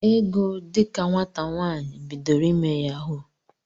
Ego dika nwata nwaanyị, bidoro ime yahuu.